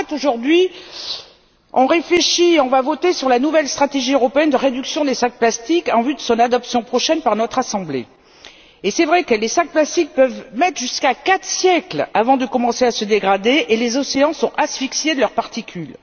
Aujourd'hui, nous allons voter sur la nouvelle stratégie européenne de réduction des sacs en plastique en vue de son adoption prochaine par notre assemblée. Il est vrai que ces sacs peuvent mettre jusqu'à quatre siècles avant de commencer à se dégrader, et les océans sont asphyxiés par leurs particules.